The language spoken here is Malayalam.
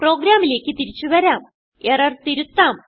പ്രോഗ്രാമിലേക്ക് തിരിച്ചു വരാം എറർ തിരുത്താം